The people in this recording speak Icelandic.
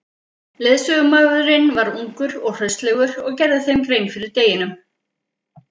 Leiðsögumaðurinn var ungur og hraustlegur og gerði þeim grein fyrir deginum.